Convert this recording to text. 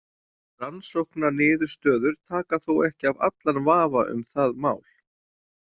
Rannsóknaniðurstöður taka þó ekki af allan vafa um það mál.